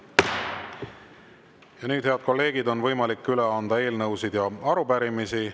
Ja nüüd, head kolleegid, on võimalik anda üle eelnõusid ja arupärimisi.